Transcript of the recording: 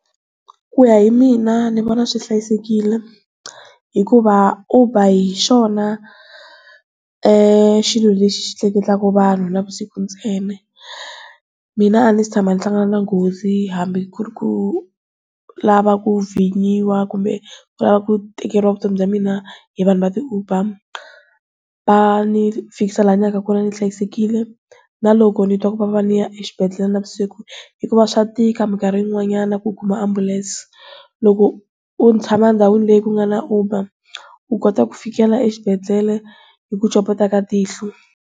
Ku ya hi mina ni vona swi hlayisekile hikuva Uber hi xona xilo lexi xi tleketlaka vanhu navusiku ntsena mina a ni si tshama ni hlangana na nghozi hambi ku ri ku lava ku vinyiwa kumbe ku lava ku tikeriwa vutomi bya mina hi vanhu va ti-Uber, va ni finikisa laha ni yaka kona ni hlayisekile na loko nitwa ku vava ni ya exibedhlele na vusiku hikuva swa tika minkarhi yinw'anyana ku kuma ambulance loko u tshama ndhawini leyi ku nga na Uber u kota ku fikela exibedele hi ku copeta ka tihlo.